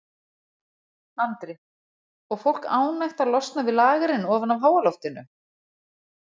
Andri: Og fólk ánægt að losna við lagerinn ofan af háaloftinu?